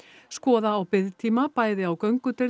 skoða á biðtíma bæði á göngudeild